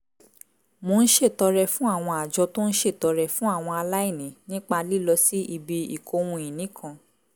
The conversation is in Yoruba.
mo ń ṣètọrẹ fún àwọn àjọ tó ń ṣètọrẹ fún àwọn aláìní nípa lílọ sí ibi ìkóhun-ìní kan